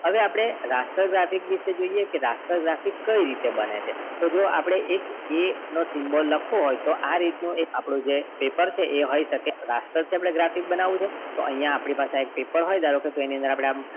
હવે આપણે raster graphics વિશે જોઈએ કે કઈ રીતે બને છે તો જો આપણ a dot symbol લખવો હોય આ રીતે નો પેપર એ હોય શકે raster થી આપણે graphics બનાવુંછે તો અહિયાં આપની પાસેએક પેપર હોય એની અંદર